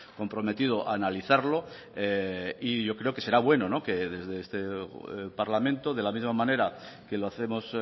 comprometido a analizarlo y yo creo que será bueno que desde este parlamento de la misma manera que lo hacemos